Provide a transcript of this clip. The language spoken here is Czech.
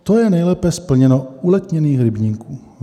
To je nejlépe splněno u letněných rybníků.